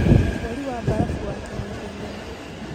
Mweri wa barabu wakenia thĩĩ ngima